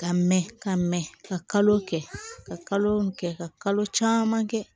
Ka mɛ ka mɛ ka kalo kɛ ka kalo kɛ ka kalo caman kɛ